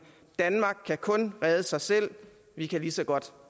danmark kan kun redde sig selv vi kan lige så godt